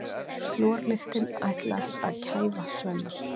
Slorlyktin ætlar að kæfa Svenna.